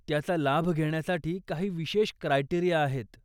त्याचा लाभ घेण्यासाठी काही विशेष क्रायटेरीया आहेत.